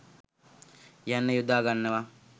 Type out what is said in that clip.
යන්න යොදාගන්නවා